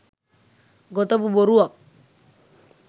ගොතපු බොරුවක්.